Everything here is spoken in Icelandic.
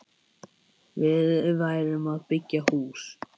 Við værum að byggja hús.